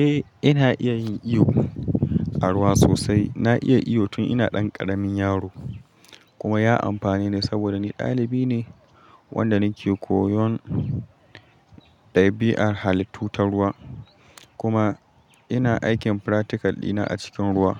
Eh ina iya yin iyo a ruwa sosai. Na iya iyo tun ina ɗan ƙaramin yaro kuma ya amfane ni saboda ni ɗalibi ne wanda nake koyon ɗabi'ar halittu ta ruwa kuma ina aikin practical dina a cikin ruwa.